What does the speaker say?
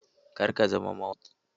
Kar ka zama mawaƙi!